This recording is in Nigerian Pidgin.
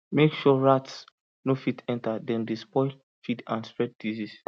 make sure rats no fit enter dem dey spoil feed and spread disease